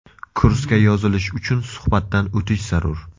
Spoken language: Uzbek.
Kursga yozilish uchun suhbatdan o‘tish zarur.